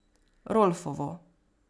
Rolfovo.